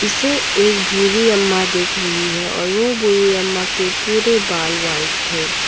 इसे एक बुरी अम्मा देख रही है और वह बुरी अम्मा के पूरे बाल वाइट है।